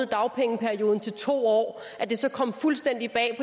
dagpengeperioden til to år at det så kom fuldstændig bag